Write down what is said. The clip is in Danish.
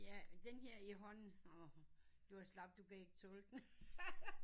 Ja den her i hånden du er slap du kan ikke tåle den